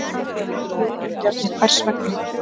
Jóhann Bjarni: Hvers vegna?